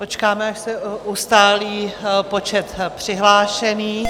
Počkáme, až se ustálí počet přihlášených.